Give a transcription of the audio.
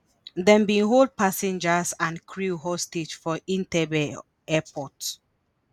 dem bin hold passengers and crew hostage for entebbe airport.